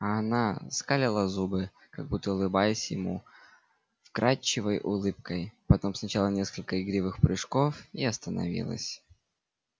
а она скалила зубы как будто улыбаясь ему вкрадчивой улыбкой потом сделала несколько игривых прыжков и остановилась